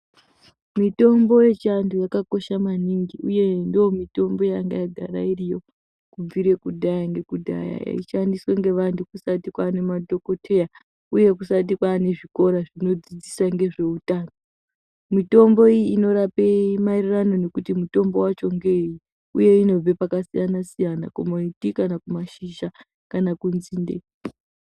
Mitombo yechiantu yakakosha maningi, uye ndomitombo yanga yagara iriyo kubvire kudhaya ngekudhaya eishandiswa ngevantu kusati kwane madhokoteya, uye kusati kwane zvikora zvinodzidziswa ngezvehutano. Mitombo iyi inorape maererano nekuti mutombo vacho ngevei, uye inobva pakasiyana-siyana. Kana kumiti kana kumashizha kana kunzinde.